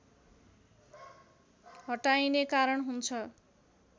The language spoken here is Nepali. हटाइने कारण हुन्छ